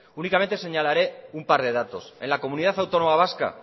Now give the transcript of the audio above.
únicamente señalaré un par de datos en la comunidad autónoma vasca